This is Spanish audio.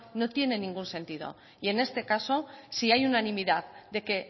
no tiene ningún sentido y en este caso si hay unanimidad de que